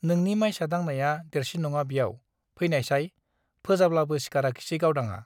नोंनि माइसा दांनाया देरसिन नङा ब्याव , फैनायसाय , फोजाब्लाबो सिखाराखिसै गावदांआ ।